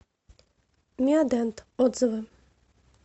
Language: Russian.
мио дент отзывы